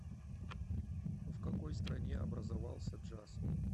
в какой стране образовался джаз